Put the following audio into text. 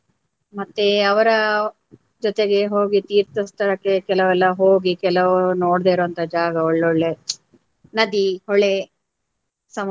ಮತ್ತೆ ಅವರ ಜೊತೆಗೆ ಹೋಗಿ ತೀರ್ಥ ಸ್ಥಳಕ್ಕೆ ಕೆಲವೆಲ್ಲ ಹೋಗಿ ಕೆಲವು ನೋಡ್ದೆ ಇರುವಂತ ಜಾಗ ಒಳ್ಳೆ ಒಳ್ಳೆ ನದಿ, ಹೊಳೆ, ಸಮುದ್ರ